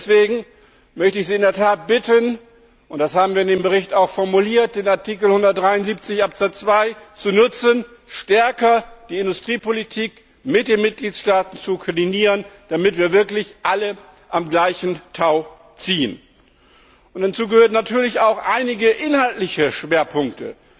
Deswegen möchte ich Sie in der Tat bitten und das haben wir in dem Bericht auch formuliert den Artikel 173 Absatz 2 zu nutzen, um die Industriepolitik stärker mit den Mitgliedstaaten zu koordinieren, damit wir wirklich alle am gleichen Strang ziehen. Dazu gehören natürlich auch einige inhaltliche Schwerpunkte,